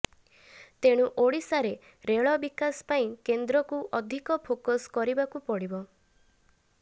ତେଣୁ ଓଡ଼ିଶାରେ ରେଳ ବିକାଶ ପାଇଁ କେନ୍ଦ୍ରକୁ ଅଧିକ ଫୋକସ୍ କରିବାକୁ ପଡ଼ିବ